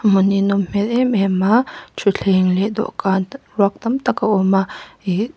a hmun hi a nawm hmel em em a thutthleng leh dawhkan ruak tam tak a awm a ihh--